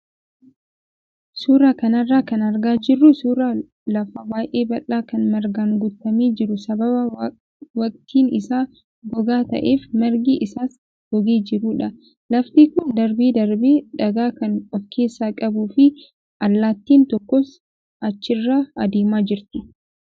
Suuraa kanarraa kan argaa jirru suuraa lafa baay'ee bal'aa kan margaan guutame garuu sababa waqtiin isaa gogaa ta'eef margi isaas gogee jirudha. Lafti kun darbee darbee dhagaa kan of keessaa qabuu fi allaattiin tokkos achirra adeemaa jirti.